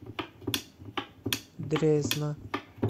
дрезна